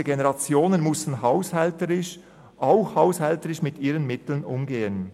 Diese Generationen mussten ebenfalls haushälterisch mit ihren Mitteln umgehen.